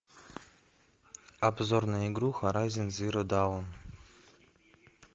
обзор на игру хорайзен зеро даун